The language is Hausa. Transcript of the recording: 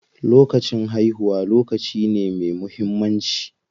Lokacin haihuwa lokaci ne me muhimmanci.